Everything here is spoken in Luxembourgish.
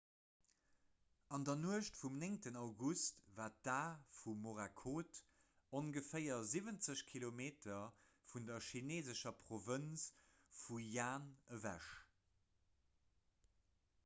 an der nuecht vum 9 august war d'a vu morakot ongeféier siwwenzeg kilometer vun der chineesescher provënz fujian ewech